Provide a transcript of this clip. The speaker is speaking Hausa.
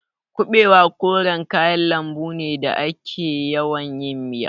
Kuɓewa koren kayan lambu ne da ake yawan yin miya.